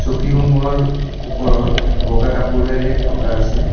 চকী সমূহৰ ওপৰত বগা কাপোৰেৰে ঢকা আছে।